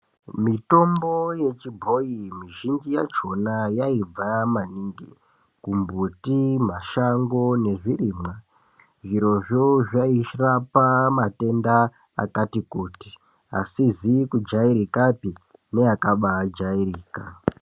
Mitombo yechibhoyi mizhinji yachona yaibva maningi mumbuti, mashango nezvirimwa, zvirozvo zvairapa matenda akati kutii asizi kujairikapi neakabaa jairika